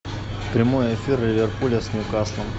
прямой эфир ливерпуля с ньюкаслом